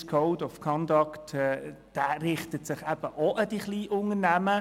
Der «Swiss Code of Conduct» richtet sich auch an die Kleinunternehmer.